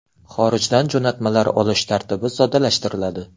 Xorijdan jo‘natmalar olish tartibi soddalashtiriladi.